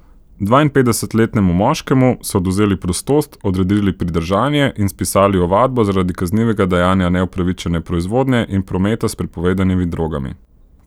Dvainpetdesetletnemu moškemu so odvzeli prostost, odredili pridržanje in spisali ovadbo zaradi kaznivega dejanja neupravičene proizvodnje in prometa s prepovedanimi drogami.